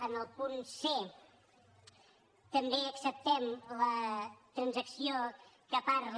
en el punt c també acceptem la transacció que parla